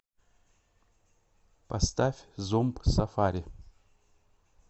поставь зомб сафари